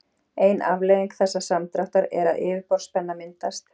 ein afleiðing þessa samdráttar er að yfirborðsspenna myndast